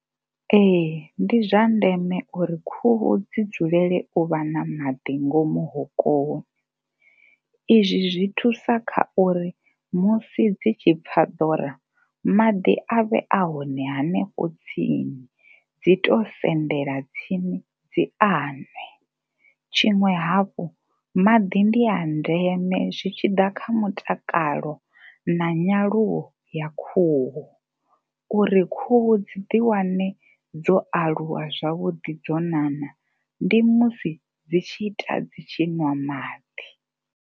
Ee, ndi zwa ndeme uri khuhu dzi dzulele u vha na maḓi ngomu hokoni izwi zwi thusa kha uri musi dzi tshi pfha ḓora maḓi a vhe a hone hanefho tsini, dzi tou sendela tsini dzi a nwe. Tshiṅwe hafhu, maḓi ndi a ndeme zwi tshi ḓa kha mutakalo na nyaluwo ya khuhu uri khuhu dzi ḓi wane dzo alulwa zwavhuḓi dzo nana ndi musi dzi tshi ita dzi tshi ṅwa maḓi.